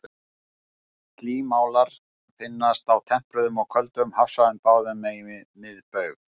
Slímálar finnast á tempruðum og köldum hafsvæðum báðum megin við miðbaug.